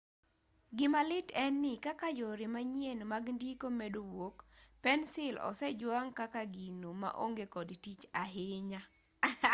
gimalit en ni kaka yore manyien mag ndiko medo wuok pensil osejwang' kaka gino maonge kod tich ahinya